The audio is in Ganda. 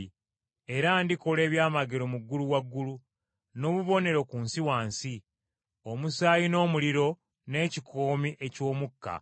Era ndikola ebyamagero mu ggulu waggulu, n’obubonero ku nsi wansi, omusaayi n’omuliro n’ekikoomi eky’omukka.